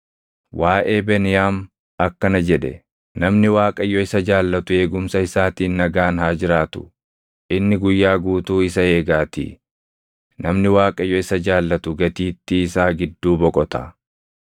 Waaʼee Beniyaam akkana jedhe: “Namni Waaqayyo isa jaallatu eegumsa isaatiin nagaan haa jiraatu; inni guyyaa guutuu isa eegaatii; namni Waaqayyo isa jaallatu gatiittii isaa gidduu boqota.”